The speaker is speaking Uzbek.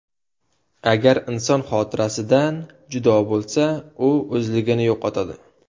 Agar inson xotirasidan judo bo‘lsa, u o‘zligini yo‘qotadi.